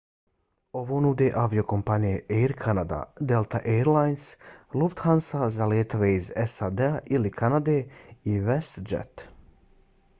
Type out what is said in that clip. ovo nude aviokompanije air canada delta air lines lufthansa za letove iz sad-a ili kanade i westjet